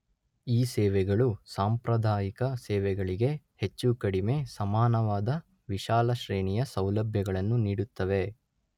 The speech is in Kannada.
ಈ ಸೇವೆಗಳು ಸಾಂಪ್ರದಾಯಿಕ ಸೇವೆಗಳಿಗೆ ಹೆಚ್ಚು ಕಡಿಮೆ ಸಮಾನವಾದ ವಿಶಾಲ ಶ್ರೇಣಿಯ ಸೌಲಭ್ಯಗಳನ್ನು ನೀಡುತ್ತವೆ